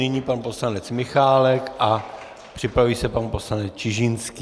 Nyní pan poslanec Michálek a připraví se pan poslanec Čižinský.